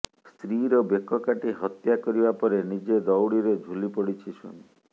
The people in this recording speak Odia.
ସ୍ତ୍ରୀର ବେକ କାଟି ହତ୍ୟା କରିବା ପରେ ନିଜେ ଦଉଡ଼ିରେ ଝୁଲିପଡ଼ିଛି ସ୍ୱାମୀ